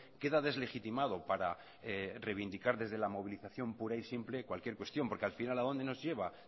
queda deslegitimado para reivindicar desde la movilización pura y simple cualquier cuestión porque al final a dónde nos lleva